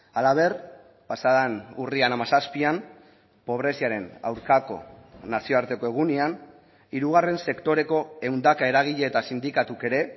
halaber pasaden urrian hamazazpian pobreziaren aurkako nazioarteko egunean hirugarren sektoreko ehundaka eragile eta sindikatuk ere